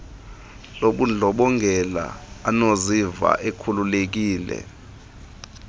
lobundlobongela anokuziva ekhululekile